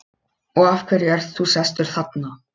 Og af hverju ert þú sestur þarna?